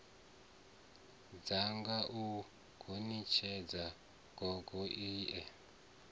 dzinga u gonitshedza gogo ie